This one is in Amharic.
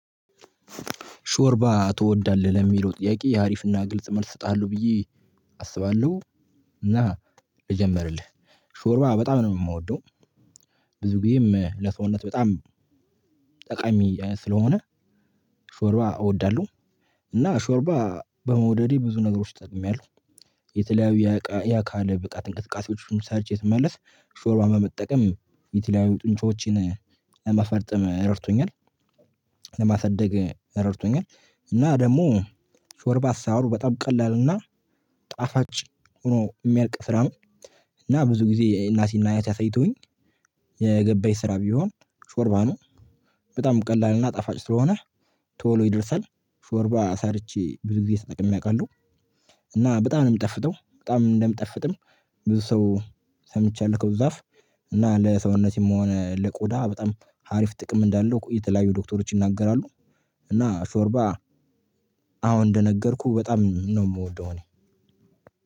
ሾርባ ትወዳለህ ለሚለው ጥያቄ የአሪፍና ግልጽ መልስ እጣለሁ ብዬ አስባለሁ እና ልጀምርልህ ሾርባ በጣም ነው ምወደው። ብዙ ጊዜም ለሰውነት በጣም ጠቃሚ ስለሆነ ሾርባ እወዳለሁ። እና ሾርባ በመውደዴ ብዙ ነገሮች ጠቅሜያለሁ። የተለያዩ ያካል ብቃት እንቅስቃሴዎችን ሰርቸ ስመለስ ሾርባ በመጠቀም የትላዩ ጡንጮዎችን ለማፈርጠም ረድቶኛል። ለማሳደግ ረድቶኛል። እና ደግሞ ሾርባስ አሰራሩ በጣም ቀላል እና ጣፋጭ ሆኖ ሚያልቅ ስራ ነው። እና ብዙ ጊዜ እናቴና እያቴ አሳይቶውኝ የገባኝ ስራ ቢሆን ሾርባ ነው። በጣም ቀላልና ጣፋጭ ስለሆነ ቶሎ ይደርሳል። ሾርባ ሰርቼ ብዙ ጊዜ ተጠቅሜ አቃለሁ። እና በጣም ነው ምጣፍጠው በጣም እንደምጣፍጥም ብዙ ሰው ሰምቻለሁ ከብዙ አፍ እና ለሰውነት ምሆነ ለቆዳ በጣም ሀሪፍ ጥቅም እንዳለው የተለያዩ ዶክተሮች ይናገራሉ። እና ሾርባ አሁን እንደነገርኩህ በጣም ነው ምወደው እኔ